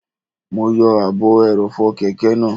Mo yọ ààbò ẹrọ̀fọ̀ kẹ̀kẹ́ náà